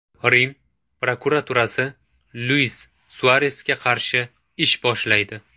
Rim prokuraturasi Luis Suaresga qarshi ish boshlaydi.